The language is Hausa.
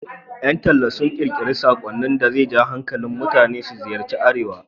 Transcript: Ƴan talla sun ƙirƙiri saƙonnin da za ja hankalin mutane su ziyarci Arewa.